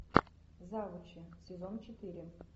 завучи сезон четыре